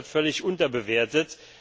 Er wird völlig unterbewertet.